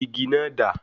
Igi náà dà?